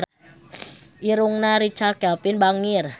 Irungna Richard Kevin bangir